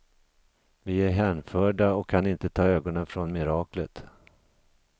Vi är hänförda och kan inte ta ögonen från miraklet.